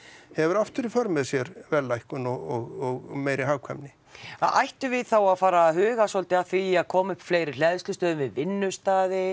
hefur aftur í för með sér verðlækkun og meiri hagkvæmni ættum við þá að fara að huga svolítið að því að koma upp fleiri hleðslustöðvum við vinnustaði